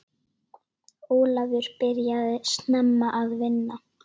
Ólafur byrjaði snemma að vinna.